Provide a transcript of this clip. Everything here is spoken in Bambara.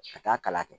Ka taa kala kɛ